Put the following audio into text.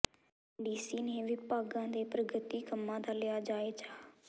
DC ਨੇ ਵਿਭਾਗਾਂ ਦੇ ਪ੍ਰਗਤੀ ਕੰਮਾਂ ਦਾ ਲਿਆ ਜਾਇਜ਼ਾ